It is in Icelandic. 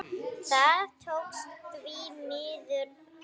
Það tókst, því miður.